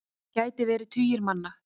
Það gæti verið tugir manna.